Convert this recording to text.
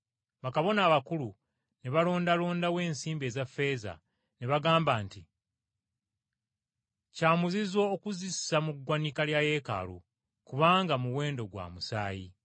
Bakabona abakulu ne balondalondawo ensimbi eza ffeeza, ne bagamba nti, “Kya muzizo okuzissa mu ggwanika lya yeekaalu kubanga muwendo gwa musaayi.”